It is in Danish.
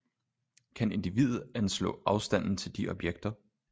Kan individet anslå afstanden til de objekter